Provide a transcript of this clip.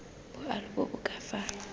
boalo bo bo ka fa